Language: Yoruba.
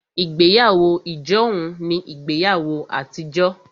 Ìgbéyàwó ijohun ní ìgbéyàwó àtijọ́